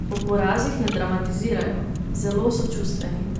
Po porazih ne dramatizirajo, zelo so čustveni.